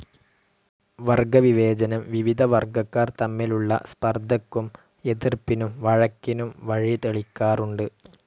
വർഗവിവേചനം വിവിധ വർഗക്കാർ തമ്മിലുള്ള സ്പർദ്ദയ്ക്കും എതിർപ്പിനും വഴക്കിനും വഴിതെളിക്കാറുണ്ട്.